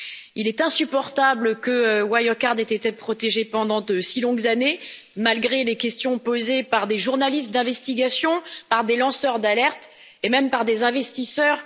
Il est insupportable que Wirecard ait été protégée pendant de si longues années, malgré les questions posées par des journalistes d'investigation, par des lanceurs d'alerte et même par des investisseurs.